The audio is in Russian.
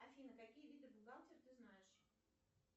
афина какие виды бухгалтер ты знаешь